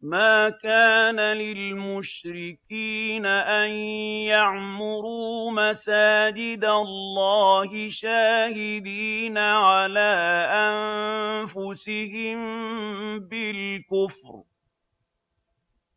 مَا كَانَ لِلْمُشْرِكِينَ أَن يَعْمُرُوا مَسَاجِدَ اللَّهِ شَاهِدِينَ عَلَىٰ أَنفُسِهِم بِالْكُفْرِ ۚ